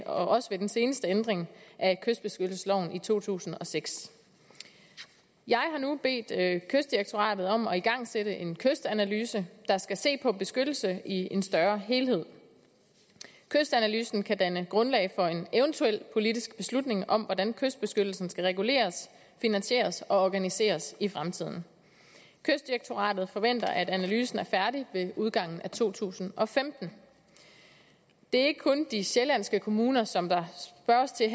også ved den seneste ændring af kystbeskyttelsesloven i to tusind og seks jeg har nu bedt kystdirektoratet om at igangsætte en kystanalyse der skal se på beskyttelse i en større helhed kystanalysen kan danne grundlag for en eventuel politisk beslutning om hvordan kystbeskyttelsen skal reguleres finansieres og organiseres i fremtiden kystdirektoratet forventer at analysen er færdig ved udgangen af to tusind og femten det er ikke kun de sjællandske kommuner som der spørges til